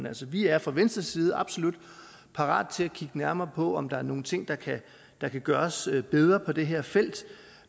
altså vi er fra venstres side absolut parate til at kigge nærmere på om der er nogle ting der kan gøres bedre på det her felt